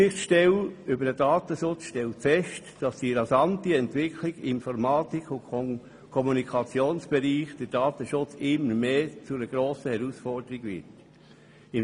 Die Aufsichtsstelle über den Datenschutz stellt fest, dass die rasante Entwicklung im Informatik- und Kommunikationsbereich für den Datenschutz immer mehr zu einer grossen Herausforderung wird.